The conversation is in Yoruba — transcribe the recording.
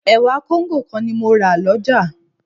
Ẹ̀wà Kóńgò kan ni mo máa rà lọ́jà